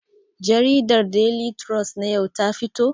Jariɗar Deli trus na yau ta fito kuwa?